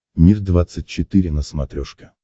мир двадцать четыре на смотрешке